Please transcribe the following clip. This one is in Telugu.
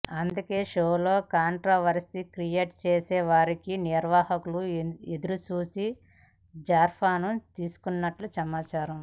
అందుకే షోలో కాంట్రవర్శీ క్రియేట్ చేసే వారికోసం నిర్వాహకులు ఎదురు చూసి జాఫర్ను తీసుకున్నట్లు సమాచారం